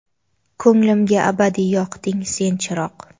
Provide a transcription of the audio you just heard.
Ko‘nglimga abadiy yoqding sen chiroq.